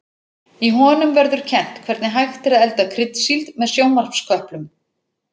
Í honum verður kennt hvernig hægt er að elda kryddsíld með sjónvarpsköplum.